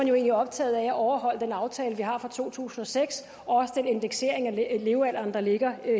egentlig optaget af at overholde den aftale vi har fra to tusind og seks og også den indeksering af levealderen der ligger